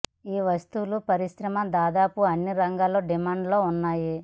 ఈ వస్తువులు పరిశ్రమ దాదాపు అన్ని రంగాల్లో డిమాండ్ లో ఉన్నాయి